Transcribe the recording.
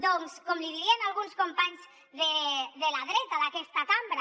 doncs com li dirien alguns companys de la dreta d’aquesta cambra